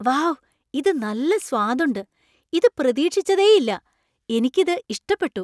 Wow ! ഇത് നല്ല സ്വാദുണ്ട് , ഇത് പ്രതീക്ഷിച്ചതേയില്ല. എനിക്ക് ഇത് ഇഷ്ടപ്പെട്ടു.